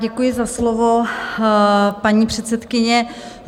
Děkuji za slovo, paní předsedkyně.